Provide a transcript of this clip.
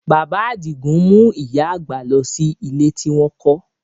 Bàbá Àdìgún mú ìyá àgbà lọ sí ilé tí wọ́n kọ́